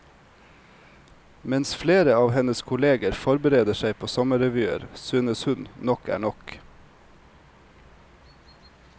Mens flere av hennes kolleger forbereder seg på sommerrevyer, synes hun nok er nok.